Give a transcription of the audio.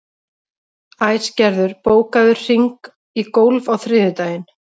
Æsgerður, bókaðu hring í golf á þriðjudaginn.